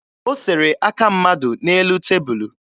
O sere aka mmadụ n'elu tebulu